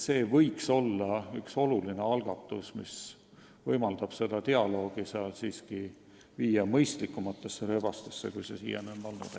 See võiks olla oluline algatus, mis võimaldaks selle dialoogi seal juhtida mõistlikumatesse rööbastesse, kui see siiani on olnud.